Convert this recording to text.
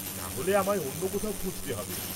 নাহলে আমায় অন্য কোথায় খুঁজতে হবে।